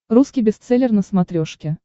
русский бестселлер на смотрешке